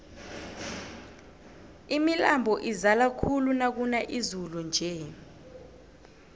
imilambo izala khulu nakuna izulu nje